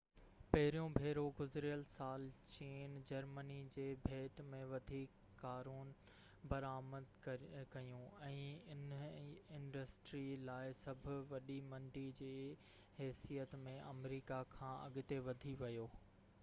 پهريون ڀيرو گذريل سال چين جرمني جي ڀيٽ ۾ وڌيڪ ڪارون برآمد ڪيون ۽ اِنهي انڊسٽري لاءِ سڀ وڏي منڊي جي حيثيت ۾ آمريڪا کان اڳتي وڌي ويو